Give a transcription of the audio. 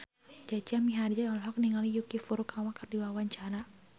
Jaja Mihardja olohok ningali Yuki Furukawa keur diwawancara